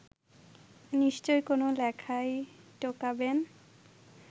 নিশ্চয়ই কোনো লেখায় ঢোকাবেন